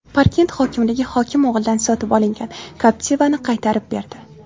Parkent hokimligi hokim o‘g‘lidan sotib olingan Captiva’ni qaytarib berdi.